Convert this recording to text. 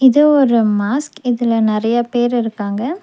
இது ஒரு மாஸ்க் இதுல நெறையா பேர் இருக்காங்க.